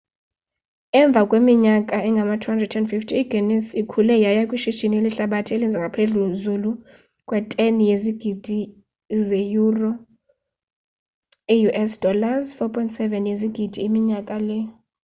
emva kweminyaka engama-250 iguinness ikhule yaya kwishishini lehlabathi elenza ngaphezulu kwe-10 yezigidi zeyuro i-us $ 14.7 yezigidi minyaka le